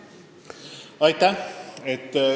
Aitäh!